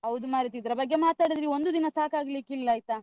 ಹೌದು ಮಾರೇತಿ. ಇದ್ರ ಬಗ್ಗೆ ಮಾತಾಡಿದ್ರೆ ಒಂದು ದಿನ ಸಾಕಾಗಲಿಕ್ಕಿಲ್ಲ ಆಯ್ತಾ.